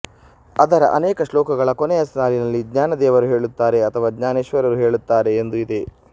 ಅದರ ಅನೇಕ ಶ್ಲೋಕಗಳ ಕೊನೆಯ ಸಾಲಿನಲ್ಲಿ ಜ್ಞಾನದೇವರು ಹೇಳುತ್ತಾರೆ ಅಥವಾ ಜ್ಞಾನೇಶ್ವರರು ಹೇಳುತ್ತಾರೆ ಎಂದು ಇದೆ